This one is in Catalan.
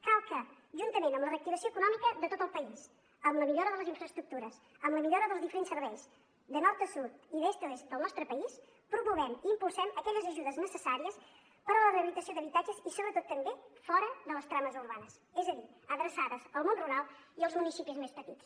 cal que juntament amb la reactivació econòmica de tot el país amb la millora de les infraestructures amb la millora dels diferents serveis de nord a sud i d’est a oest del nostre país promovem i impulsem aquelles ajudes necessàries per a la rehabilitació d’habitatges i sobretot també fora de les trames urbanes és a dir adreçades al món rural i als municipis més petits